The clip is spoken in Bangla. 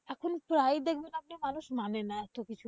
এখন friday ছাড়াতো মানুষ মানে না এতকিছু।